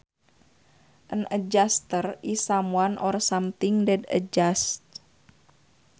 An adjustor is someone or something that adjusts